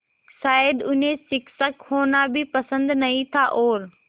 शायद उन्हें शिक्षक होना भी पसंद नहीं था और